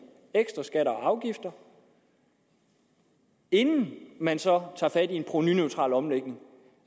ekstra skatter og afgifter inden man så tager fat på en provenuneutral omlægning